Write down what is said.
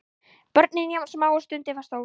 Börnin jafn smá og stundin var stór.